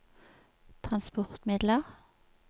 transportmidler